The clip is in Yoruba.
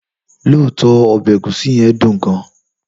Lọtọ, obe egusi yen dùn gan.